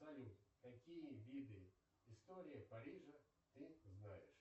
салют какие виды история парижа ты знаешь